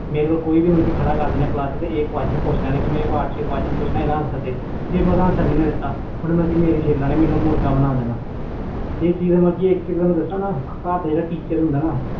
ਮੈਨੂੰ ਖੜ੍ਹਾ ਕਰ ਦੇਣਾ ਕਲਾਸ ਵਿਚ ਆਹ quetion ਦਾ answer ਦੇ ਜੇ ਮੈਂ ਨਹੀਂ ਦੇਣਾ ਫਿਰ ਉਸਨੇ ਮੇਰੀ ਛਿਲ ਲੈਣੀ ਮੈਨੂੰ ਮੁਰਗਾ ਬਣਾ ਦੇਣਾ ਇਕ ਗੱਲ ਦਸਾ ਘਰ ਜਿਹੜਾ teacher ਹੁੰਦਾ ਨਾ